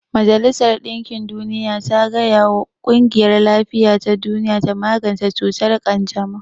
Majalisar dinkin duniya ta gaya wa ƙungiyar lafiya ta duniya ta magance cutar ƙanjamau